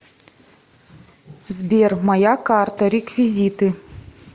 сбер моя карта реквизиты